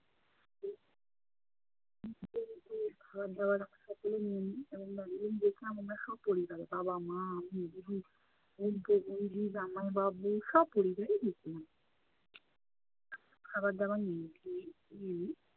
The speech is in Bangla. খাবার দাবার সব কিছুই নিয়ে নেই এবং দার্জিলিং দেখলাম আমরা স্বপরিবারে। বাবা, মা, আমি, দিদি, বোনপো, দিদি, জামাইবাবু স্বপরিবারে দেখলাম। খাবার দাবার নিয়ে নে~ নেই।